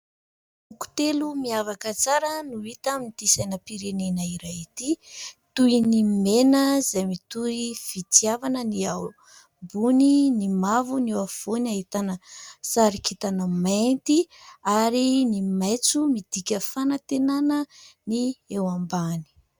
Loko telo miavaka tsara no hita amin'ity sainam-pirenena iray ity toy ny mena izay mitory fitiavana, ny ao ambony ny mavo, ny ao afovoany ahitana sary kintana mainty ary ny maitso midika fanantenana ny eo ambany.